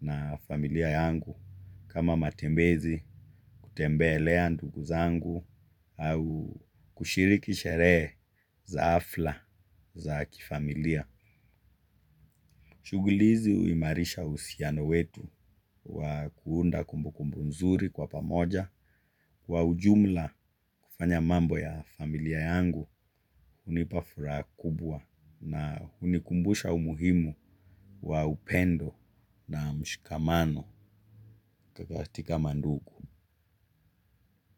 na familia yangu kama matembezi kutembelea ndugu zangu au kushiriki sherehe za hafla za kifamilia. Shughuli hizi huimarisha uhusiano wetu wa kuunda kumbu kumbu nzuri kwa pamoja, wa ujumla kufanya mambo ya familia yangu hunipa furaha kubwa na hunikumbusha umuhimu wa upendo na mshikamano katika mandugu.